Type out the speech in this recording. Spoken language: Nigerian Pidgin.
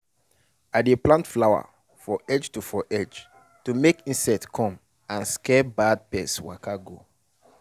we dey plant flower for edge to for edge to make insect come and scare bad pest waka go.